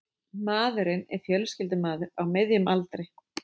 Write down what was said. Maðurinn er fjölskyldumaður á miðjum aldri